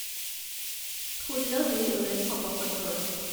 ষোল্ল দুই ঊনৈছ শ পঁসত্তৰ